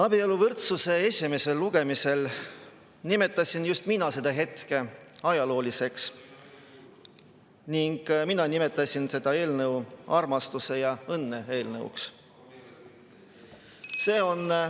Abieluvõrdsuse esimesel lugemisel nimetasin just mina seda hetke ajalooliseks ning mina nimetasin seda eelnõu armastuse ja õnne eelnõuks.